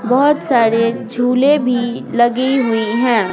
बहुत सारे झूले भी लगी हुई हैं।